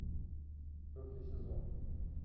четвертый сезон